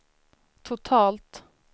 totalt